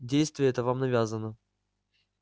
действие это вам навязано